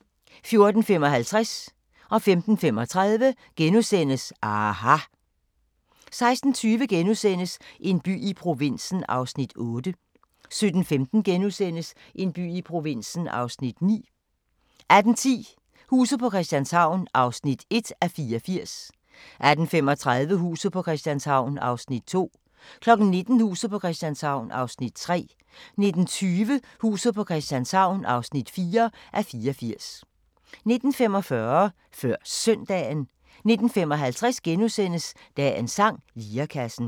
14:55: aHA! * 15:35: aHA! * 16:20: En by i provinsen (8:17)* 17:15: En by i provinsen (9:17)* 18:10: Huset på Christianshavn (1:84) 18:35: Huset på Christianshavn (2:84) 19:00: Huset på Christianshavn (3:84) 19:20: Huset på Christianshavn (4:84) 19:45: Før Søndagen 19:55: Dagens sang: Lirekassen *